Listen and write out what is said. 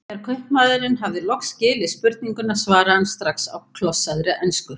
Þegar kaupmaðurinn hafði loks skilið spurninguna svaraði hann strax á klossaðri ensku